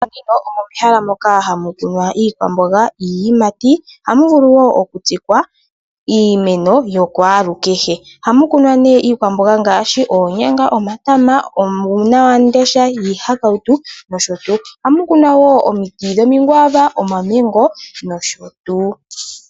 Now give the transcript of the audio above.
Momapya omomehala moka hamu tulwa iikwamboga niiyimati, ohamu vulu wo okutsikwa iimeno yakwalu kehe ohamu kunwa neiikwamboga ngaashi oonyanga, omatama, uunawamundesha, iihakauto nosho tuu.